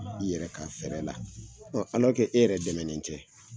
I yɛrɛ ka fɛrɛ la, e yɛrɛ dɛmɛnen tɛ